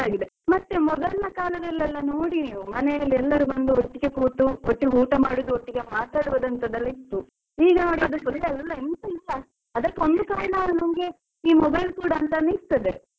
ಮತ್ತೆ ಮೊದಲ್ನ ಕಾಲದಲ್ಲೆಲ್ಲ ನೋಡಿ ನೀವು, ಮನೇಲಿ ಎಲ್ಲರು ಬಂದು ಒಟ್ಟಿಗೆ ಕೂತು ಒಟ್ಟಿಗೆ ಊಟ ಮಾಡುದು ಒಟ್ಟಿಗೆ ಮಾತಾಡುದಂತಾದೆಲ್ಲ ಇತ್ತು. ಈಗ ನೋಡಿ ಅದೆಲ್ಲ full ಎಲ್ಲ ಎಂತ ಇಲ್ಲ ಅದಕ್ಕೆ ಒಂದು ಕಾರಣ ನಮ್ಗೆ ಈ mobile ಕೂಡ ಅಂತ ಅನಿಸ್ತದೆ, ಅಲ್ವ.